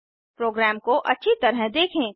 programme को अच्छी तरह देखें